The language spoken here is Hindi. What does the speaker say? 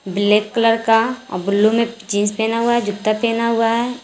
ब्लैक कलर का ब्लू में जींस पेहना हुआ है जूता पेहना हुआ है।